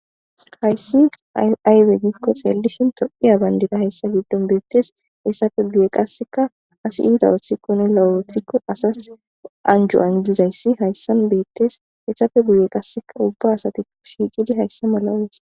Haysi aybe giiko xeeleshini tophiya bandiray haysa gidon beetes haysa guye kaseka asi iita othikone lo'o oothiko asas anjo anjizaysi haysan beetes heysape guyen kaseka uba asati shiiqidi haysan malan.